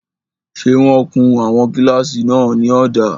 Ṣé wọ́n kun àwọn kílásì náà ní ọ̀dà?